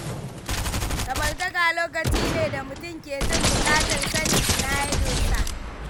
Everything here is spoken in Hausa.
Samartaka lokaci ne da mutum ke jin bukatar sanin ina ya dosa